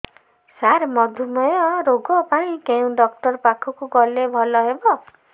ସାର ମଧୁମେହ ରୋଗ ପାଇଁ କେଉଁ ଡକ୍ଟର ପାଖକୁ ଗଲେ ଭଲ ହେବ